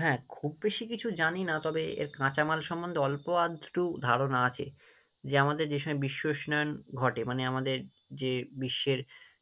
হ্যাঁ, খুব বেশি কিছু জানি না তবে এর কাঁচামাল সম্মন্ধে অল্প আধটু ধারণা আছে, যে আমাদের যে সময় বিশ্ব উষ্মায়ন ঘটে, মানে আমাদের যে বিশ্বের